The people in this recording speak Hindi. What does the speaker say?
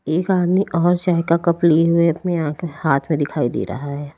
एक आदमी और चाय का कप लिए हुए अपनी हाथ में दिखाई दे रहा है।